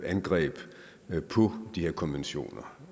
angreb på de her konventioner